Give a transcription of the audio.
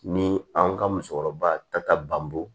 Ni an ka musokɔrɔba ta ta ban